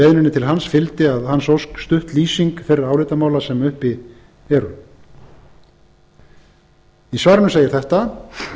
beiðninni til hans fylgdi að hans ósk stutt lýsing þeirra álitamála sem uppi eru í svarinu segir þetta